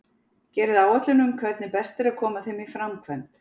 Gerið áætlun um hvernig best er að koma þeim í framkvæmd.